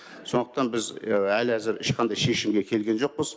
сондықтан біз әлі әзір ешқандай шешімге келген жоқпыз